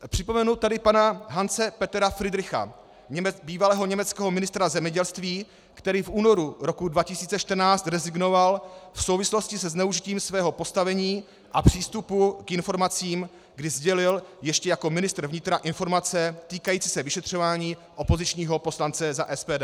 Připomenu tady pana Hanse Petera Fridricha, bývalého německého ministra zemědělství, který v únoru roku 2014 rezignoval v souvislosti se zneužitím svého postavení a přístupu k informacím, kdy sdělil ještě jako ministr vnitra informace týkající se vyšetřování opozičního poslance za SPD.